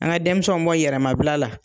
An ka denmisɛnw bɔ yɛrɛmabila la.